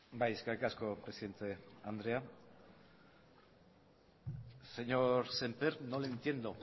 bai eskerrik asko presidente andrea señor sémper no le entiendo